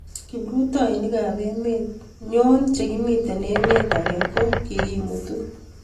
kiprutoinikab emet nyo che kimito emet age ko kikimutu